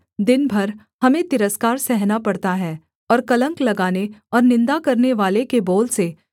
दिन भर हमें तिरस्कार सहना पड़ता है और कलंक लगाने और निन्दा करनेवाले के बोल से